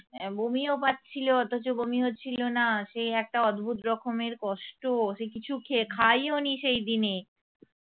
এ বমিও পাচ্ছিল অথচ বমি হচ্ছিল না সেই একটা অদ্ভুত রকমের কষ্ট সে কিছু খে~ খাইও নি সে দিনে